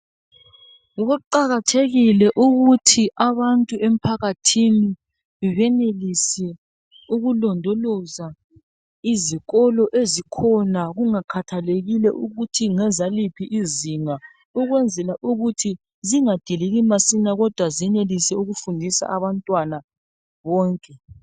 Kuqakathekile ukuthi abantu emphakathini benelise ukulondoloza izikolo ezikhona kungakhathalekile ukuthi ngezaliphi izinga ukwenzela ukuthi zingadiliki masinya, kodwa zenelise ukufundisa abantwana bonke.